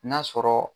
N'a sɔrɔ